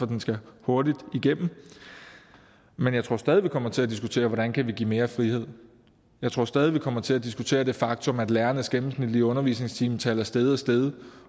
den skal hurtigt igennem men jeg tror stadig vi kommer til at diskutere hvordan vi kan give mere frihed jeg tror stadig vi kommer til at diskutere det faktum at lærernes gennemsnitlige undervisningstimetal er steget og steget